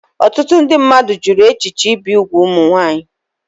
Ọtụtụ ndị mmadụ jụrụ echiche ibi úgwù ụmụ nwanyị